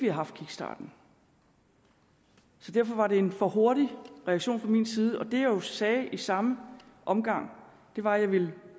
haft kickstarten derfor var det en for hurtig reaktion fra min side og det jeg jo sagde i samme omgang var at jeg ville